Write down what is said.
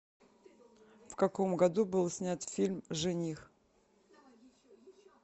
в каком году был снят фильм жених